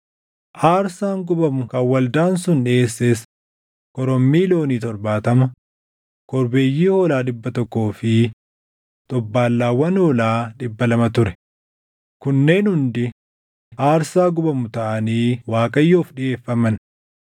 Aarsaan gubamu kan waldaan sun dhiʼeesses korommii loonii torbaatama, korbeeyyii hoolaa dhibba tokkoo fi xobbaallaawwan hoolaa dhibba lama ture; kunneen hundi aarsaa gubamu taʼanii Waaqayyoof dhiʼeeffaman.